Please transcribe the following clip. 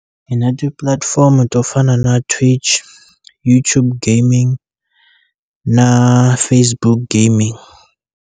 Hi na tipulatifomo to fana na Twitch, YouTube Gaming na Facebook Gaming.